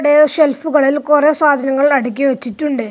ടെ ഷെൽഫുകളിൽ കുറേ സാധനങ്ങൾ അടുക്കി വെച്ചിട്ടുണ്ട്.